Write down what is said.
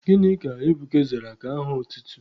Gịnị ka Ebuka zara ka aha otutu?